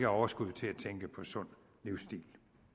overskud til at tænke på sund livsstil